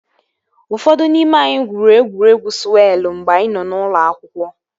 Ụfọdụ n'ime anyị gwuru egwuregwu sụwelụ mgbe anyị nọ na ụlọ akwụkwọ